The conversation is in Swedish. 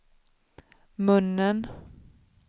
munnen